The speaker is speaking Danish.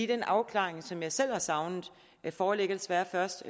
den afklaring som jeg selv har savnet foreligger desværre først